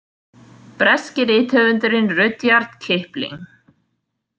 Breski rithöfundurinn Rudyard Kipling.